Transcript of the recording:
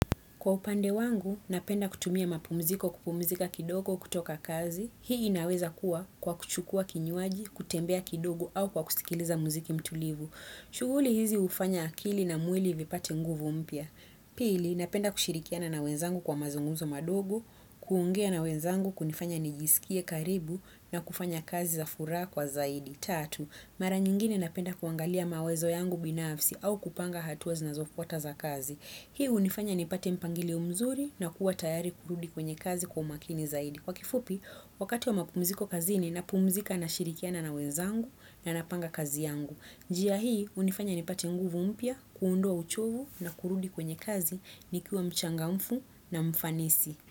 Kwa upande wangu, napenda kutumia mapumziko kupumzika kidogo kutoka kazi. Hii inaweza kuwa kwa kuchukua kinywaji, kutembea kidogo au kwa kusikiliza muziki mtulivu. Shughuli hizi hufanya akili na mwili vipate nguvu mpya. Pili, napenda kushirikiana na wenzangu kwa mazungumzo madogo, kuongea na wenzangu kunifanya nijisikie karibu na kufanya kazi za furaha kwa zaidi. tatu. Mara nyingine napenda kuangalia mawezo yangu binafsi au kupanga hatuazi na zofu ataza kazi. Hii hunifanya ni pate mpangilio mzuri na kuwa tayari kurudi kwenye kazi kwau makini zaidi. Kwa kifupi, wakati wa mapumziko kazi ni napumzika na shirikiana na wenzangu na napanga kazi yangu. Njia hii hunifanya ni pate nguvu mpya kuondoa uchovu na kurudi kwenye kazi nikiwa mchangamfu na mfanisi.